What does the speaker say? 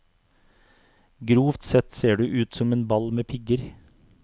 Grovt sett ser det ut som en ball med pigger.